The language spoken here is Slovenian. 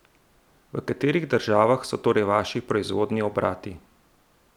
V katerih državah so torej vaši proizvodni obrati?